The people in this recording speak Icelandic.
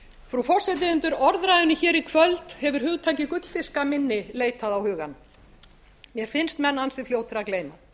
frú forseti undir orðræðunni hér í kvöld hefur hugtakið gullfiskaminni leitað á hugann mér finnst menn ansi fljótir að gleyma